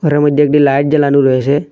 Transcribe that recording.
এর মইধ্যে একটি লাইট জ্বালানু রয়েসে।